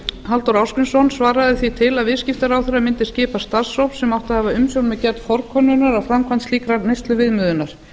halldór ásgrímsson svaraði því til að viðskiptaráðherra mundi skipa starfshóp sem átti að hafa umsjón með gerð forkönnunar að framkvæmd slíkrar neysluviðmiðunar